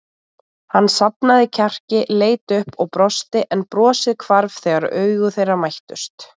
Hann safnaði kjarki, leit upp og brosti en brosið hvarf þegar augu þeirra mættust.